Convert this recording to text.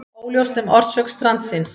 Óljóst um orsök strandsins